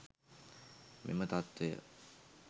මෙම තත්ත්වය